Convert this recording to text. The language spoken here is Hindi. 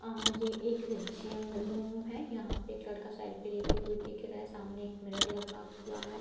अ यह एक जिम रूम है यहाँ पे एक लड़का सेल्फी लेते हुए दिख रहा है सामने एक मिरर लगा हुआ है।